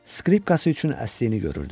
skripkası üçün əsdiyini görürdüm.